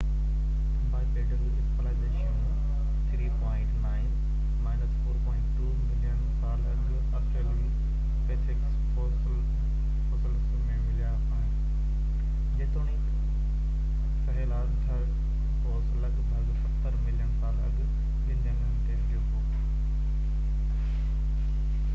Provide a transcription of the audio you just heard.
bipedal اسپيشلائيزيشنون 4.2-3.9 million سال اڳ آسٽريلوپيٿيڪس فوسلس ۾ مليا آهن، جيتوڻيڪ سھيلانٿروپوسَ لڳ ڀڳ ستر ملين سال اڳ ٻن جنگهن تي ھليو ھو